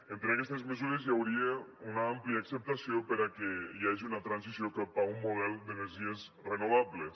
entre aquestes mesures hi hauria una àmplia acceptació per a què hi hagi una transició cap a un model d’energies renovables